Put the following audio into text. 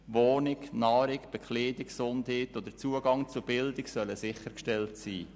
Wohnung, Nahrung, Bekleidung, Gesundheit und der Zugang zu Bildung sollen sichergestellt sein.